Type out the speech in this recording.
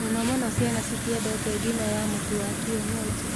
Mũno mũno ciana citiendete ngima ya mũtu wa kĩenyenji